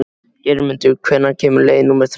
Geirmundur, hvenær kemur leið númer þrettán?